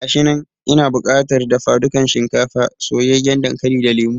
Gashinan, ina bukatar dafa dukan shinkafa, soyayyen dankali da lemo